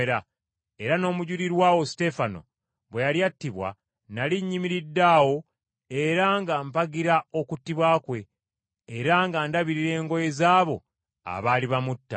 Era n’omujulirwa wo Suteefano bwe yali attibwa nnali nnyimiridde awo era nga mpagira okuttibwa kwe, era nga ndabirira engoye z’abo abaali bamutta.’